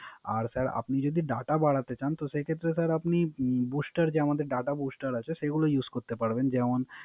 আর sir আপনি যদি Data বাড়াতে চান। তো সেক্ষেত্রে স্যার আপনি Booster যে আমাদের Data booster আছে সেগুলা Use করতে পারবেন।